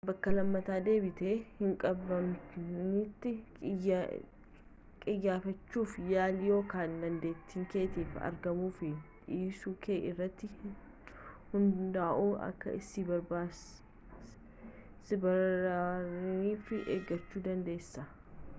bakka lammata deebitee hinqabamnetti qiyyaafachuu yaali yookaan dandeettii keetii fi argamuuu fi dhiisuu kee irratti hunda'uun akka si baraaraniif eeggachuu dandeessa